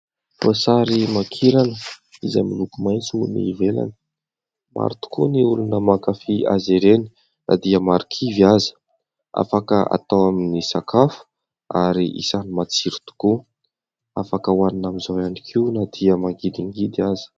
Voasarimankirana izay miloko maintso ny ivelany. Maro tokoa ny olona mankafia azy ireny na dia marikivy aza. Afaka atao amin'ny sakafo ary isany matsiro tokoa, afaka hoanina amin'izao ihany koa na dia mangidingidy aza.